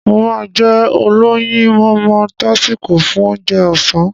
Mo máá jẹ olóyinmọmọ tásíko fún Ounjẹ ọ̀sán